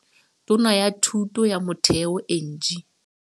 Tona ya Thuto ya Motheo Angie.